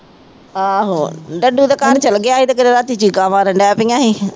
ਆਹੋ ਡੱਡੂ ਤਾਂ ਚਲੇ ਗਿਆ ਤੇ ਕਿਤੇ ਰਾਤੀ ਚੀਕਾਂ ਮਾਰਨ ਲੱਗ ਪਈਆਂ ਸੀ